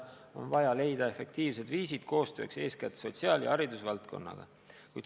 On vaja leida efektiivsed viisid koostööks eeskätt sotsiaal- ja haridusvaldkonnaga.